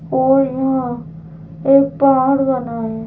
और यहाँ एक पहाड़ बना है।